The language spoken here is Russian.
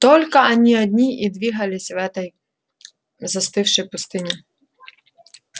только они одни и двигались в этой застывшей пустыне